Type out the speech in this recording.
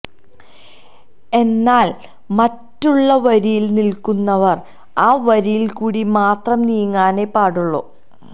എന്നാൽ മറ്റുള്ള വരയിൽ നിൽക്കുന്നവർ ആ വരയിൽ കൂടി മാത്രം നീങ്ങാനെ പാടുള്ളൂ